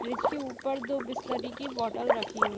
fridge के ऊपर दो बिसलरी की बॉटल रखी हुई --